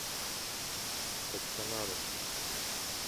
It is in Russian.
качканару